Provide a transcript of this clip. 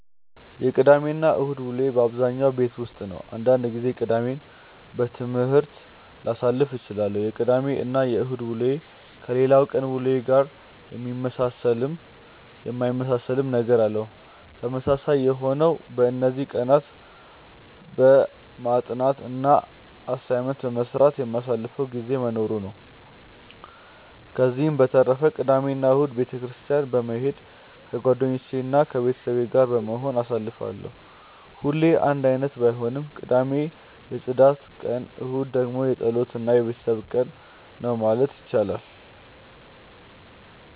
የቅዳሜ እና እሁድ ውሎዬ በአብዛኛው ቤት ውስጥ ነው። አንዳንድ ጊዜ ቅዳሜን በትምህርት ላሳልፍ እችላለሁ። የቅዳሜ እና እሁድ ውሎዬ ከሌላው ቀናት ውሎዬ ጋር የሚመሳሰልም የሚለያይም ነገር አለው። ተመሳሳይ የሆነው በእነዚህ ቀናትም በማጥናት እና አሳይመንት በመስራት የማሳልፈው ጊዜ መኖሩ ነው። ከዚህ በተረፈ ቅዳሜ እና እሁድን ቤተ ክርስትያን በመሄድ ከጓደኞቼ እና ከቤተሰብ ጋር በመሆን አሳልፋለሁ። ሁሌ አንድ አይነት ባይሆንም ቅዳሜ የፅዳት ቀን እሁድ ደግሞ የፀሎት እና የቤተሰብ ቀን ነው ማለት ይቻላል።